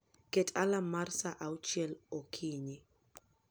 Ket alarm mara mar saa auchiel okinyi